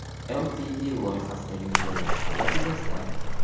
Ltd loyihasida yuz bergan holat yuzasidan.